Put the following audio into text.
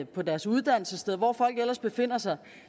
på deres uddannelsessted eller hvor folk ellers befinder sig og